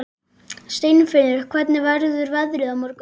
Steinfinnur, hvernig verður veðrið á morgun?